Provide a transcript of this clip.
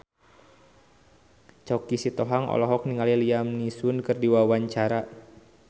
Choky Sitohang olohok ningali Liam Neeson keur diwawancara